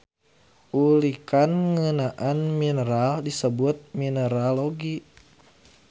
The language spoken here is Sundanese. Ulikan ngeunaan mineral disebut mineralogi.